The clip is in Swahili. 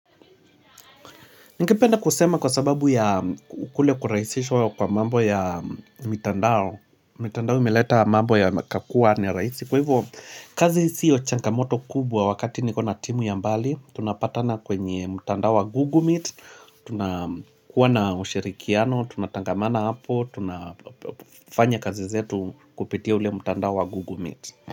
Ningependa kusema kwa sababu ya kule kurahisishwa kwa mambo ya mitandao. Mitandao imeleta mambo yakakuwa ni rahisi. Kwa hivyo, kazi sio changamoto kubwa wakati nikona timu ya mbali. Tunapatana kwenye mtandao wa Google Meet. Tunakuwa na ushirikiano. Tunatangamana hapo. Tunafanya kazi zetu kupitia ule mtandao wa Google Meet.